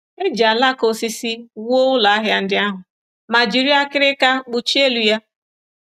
E ji alaka osisi wuo ụlọahịa ndị ahụ ma jiri akịrịka kpuchie elu ya.